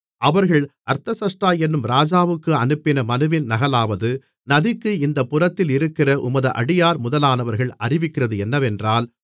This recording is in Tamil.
அவர்கள் அர்தசஷ்டா என்னும் ராஜாவுக்கு அனுப்பின மனுவின் நகலாவது நதிக்கு இந்தப் புறத்தில் இருக்கிற உமது அடியார் முதலானவர்கள் அறிவிக்கிறது என்னவென்றால்